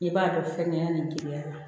I b'a dɔn fɛngɛ nin duguma